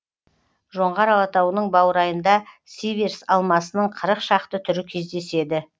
жоңғар алатауының баурайында сиверс алмасының қырық шақты түрі кездеседі